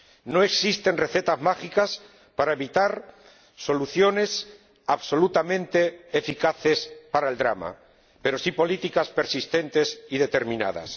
No existen recetas mágicas para hallar soluciones absolutamente eficaces para el drama, pero sí políticas persistentes y determinadas.